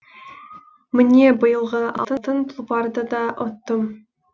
міне биылғы алтын тұлпарды да ұттым